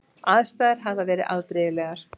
Aðstæður hefði verið afbrigðilegar